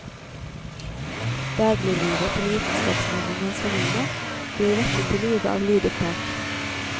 Dagliglivet til vitenskapsmannen og hans familie blir vekket til live av lydopptak.